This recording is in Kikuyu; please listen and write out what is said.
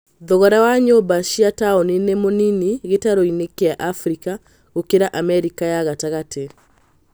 Thogora wa nyũmba cia taoni nĩ mũnini gĩtaro-inĩ kĩa Afrika gũkĩra Amerika ya gatagatĩ